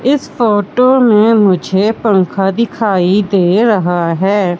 इस फोटो में मुझे पंखा दिखाई दे रहा है।